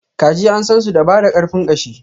kaji an sansu da bada karfin ƙashi.